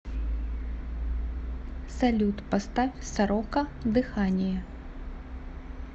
салют поставь сорока дыхание